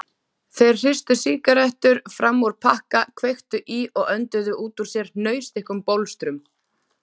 Þeir hristu sígarettur fram úr pakka, kveiktu í og önduðu út úr sér hnausþykkum bólstrum.